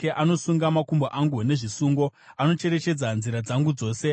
Anosunga makumbo angu nezvisungo; anocherechedza nzira dzangu dzose.’